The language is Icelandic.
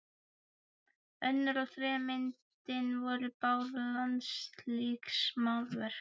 Önnur og þriðja myndin voru báðar landslagsmálverk.